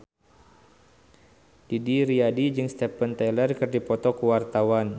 Didi Riyadi jeung Steven Tyler keur dipoto ku wartawan